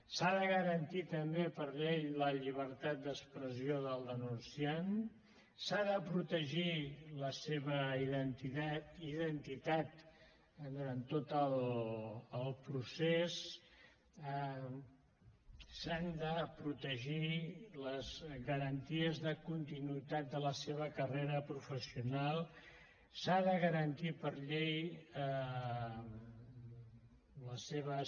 s’ha de garantir també per llei la llibertat d’expressió del denunciant s’ha de protegir la seva identitat durant tot el procés s’han de protegir les garanties de continuïtat de la seva carrera professional s’ha de garantir per llei les seves